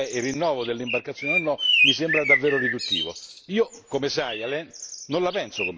Ridurre la discussione al referendum circa il rinnovo delle imbarcazioni o no mi sembra davvero riduttivo.